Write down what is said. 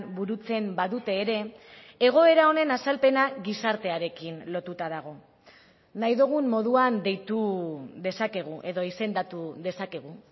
burutzen badute ere egoera honen azalpena gizartearekin lotuta dago nahi dugun moduan deitu dezakegu edo izendatu dezakegu